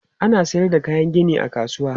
Ana sayar da kayan gini a kasuwa.